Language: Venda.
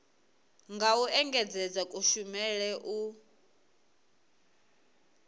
nga u engedzedza kushumele u